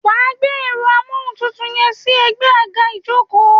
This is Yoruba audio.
Wàá gbé èro amóhùn tútù yẹn sí egbé àga ìjókòó